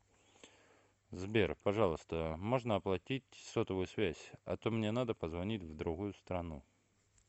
сбер пожалуйста можно оплатить сотовую связь а то мне надо позвонить в другую страну